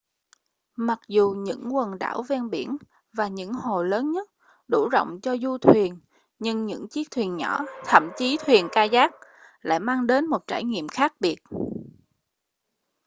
mặc dù những quần đảo ven biển và những hồ lớn nhất đủ rộng cho du thuyền nhưng những chiếc thuyền nhỏ thậm chí là thuyền kayak lại mang đến một trải nghiệm khác biệt